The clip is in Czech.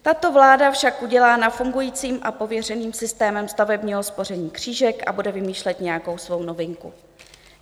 Tato vláda však udělá nad fungujícím a prověřeným systémem stavebního spoření křížek a bude vymýšlet nějakou svou novinku.